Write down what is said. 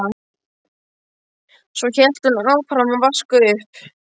Svo hélt hún áfram að vaska upp.